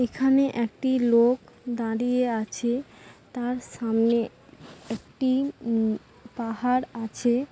এখানে একটি লোক দাঁড়িয়ে আছে। তার সামনে একটি উম পাহাড় আছে।